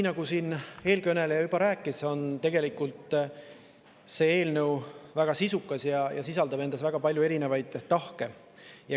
Nagu eelkõneleja juba rääkis, tegelikult on see eelnõu väga sisukas ja sisaldab väga palju erinevaid tahke.